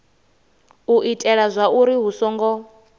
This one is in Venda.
u itela zwauri hu songo